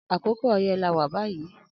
Akòkò ọyẹ là wà bàyí